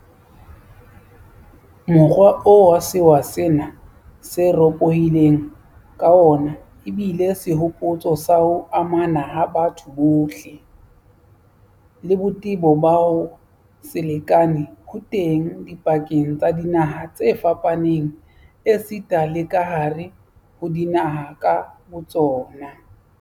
Mokgwa oo sewa sena se ropohileng ka wona ebile sehopotso sa ho amana ha batho bohle, le botebo ba ho se lekane ho teng dipakeng tsa dinaha tse fapaneng esita le kahare ho dinaha ka botsona.